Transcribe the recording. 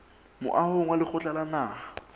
moahong wa lekgotla la naha